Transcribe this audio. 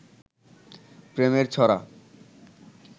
প্রেমের ছড়া